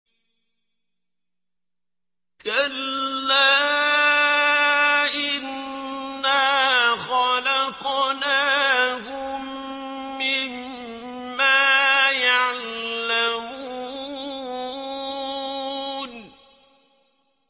كَلَّا ۖ إِنَّا خَلَقْنَاهُم مِّمَّا يَعْلَمُونَ